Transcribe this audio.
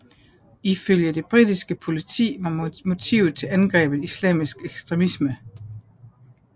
Ifølge det britiske politi var motivet til angrebet islamisk ekstremisme